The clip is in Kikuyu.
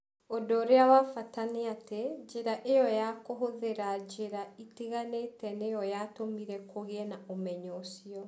Ũndũ ũrĩa wa bata nĩ atĩ, njĩra ĩyo ya kũhũthĩra njĩra itiganĩte nĩyo yatũmire kũgĩe na ũmenyo ũcio.